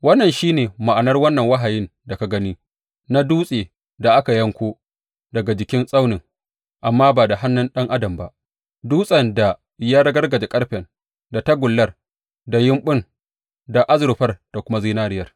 Wannan shi ne ma’anar wannan wahayin da ka gani na dutsen da aka yanko daga jikin tsaunin, amma ba da hannun ɗan adam ba, dutsen da ya ragargaza ƙarfen, da tagullar, da yumɓun da azurfar da kuma zinariyar.